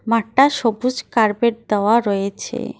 মাঠটা সবুজ কার্পেট দেওয়া রয়েছে।